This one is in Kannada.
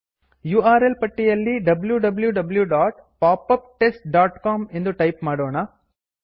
ಯುಆರ್ಎಲ್ ಪಟ್ಟಿಯಲ್ಲಿ wwwpopuptestcom ಎಂದು ಟೈಪ್ ಮಾಡೋಣ